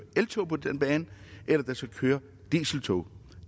eltog eller der skal køre dieseltog